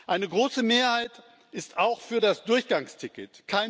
Eine große Mehrheit ist auch für das Durchgangsticket.